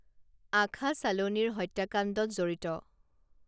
আখা ছালোনিৰ হত্যাকাণ্ডত জড়িত